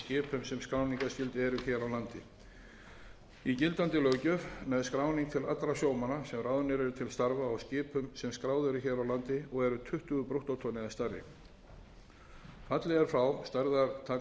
hér á landi í gildandi löggjöf nær skráning til allra sjómanna sem ráðnir eru til starfa á skipum sem skráð eru hér á landi og eru tuttugu brúttótonn eða stærri fallið er frá stærðartakmörkunum enda